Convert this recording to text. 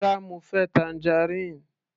Rárá, mo fẹ́ tangerine.